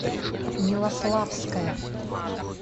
милославская